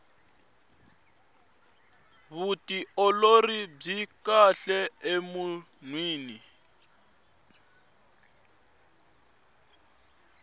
vutiolori byi kahle emunhwini